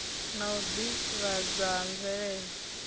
na u ḓivhadzwa ha mvelelo